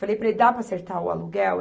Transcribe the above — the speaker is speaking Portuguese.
Falei para ele, dá para acertar o aluguel?